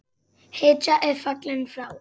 Hetja er fallin frá!